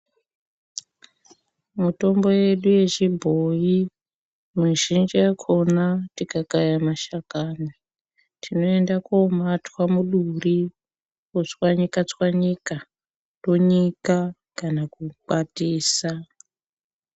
Mutombo yedu yechibhoyi mizhinji yakona tikakaya mashakani tinoenda komatwa muduri otswanyikatswanyika tonyika kana kukwatisa .